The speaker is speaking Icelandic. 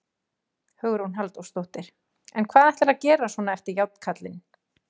Hugrún Halldórsdóttir: En hvað ætlarðu að gera svona eftir Járnkarlinn?